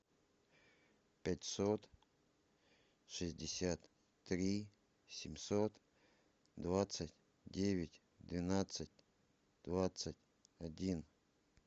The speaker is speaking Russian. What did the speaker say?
пятьсот шестьдесят три семьсот двадцать девять двенадцать двадцать один